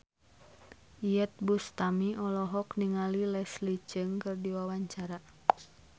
Iyeth Bustami olohok ningali Leslie Cheung keur diwawancara